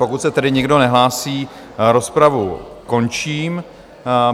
Pokud se tedy nikdo nehlásí, rozpravu končím.